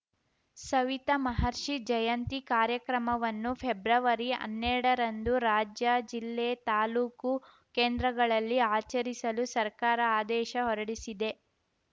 ಸವಿತ ಮಹರ್ಷಿ ಜಯಂತಿ ಕಾರ್ಯಕ್ರಮವನ್ನು ಫೆಬ್ರವರಿ ಹನ್ನೆರಡರಂದು ರಾಜ್ಯ ಜಿಲ್ಲೆ ತಾಲೂಕು ಕೇಂದ್ರಗಳಲ್ಲಿ ಆಚರಿಸಲು ಸರ್ಕಾರ ಆದೇಶ ಹೊರಡಿಸಿದೆ